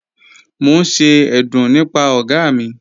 Mo n ṣe ẹ̀dún nípà ọ̀ga mi..